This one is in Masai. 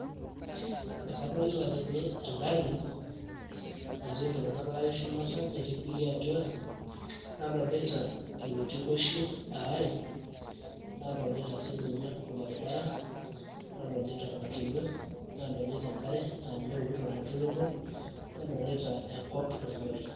ekadolita tene enga'ri, natii iltung'anak aare shumata. netii irkulie atua, nadolita, iloitikoshi aare, nadolita sii ninye, orbaribara, nadolita irng'atunyo, nadolita enkare naa ninye eokito orng'atuny obo, nadolita enkop nanyori.